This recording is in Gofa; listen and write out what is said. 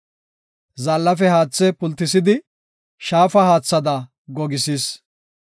Zaallafe haathe pultisidi, shaafa haathada gogisis.